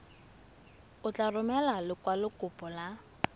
o tla romela lekwalokopo la